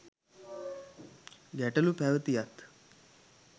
ගැටලු පැවැතියත්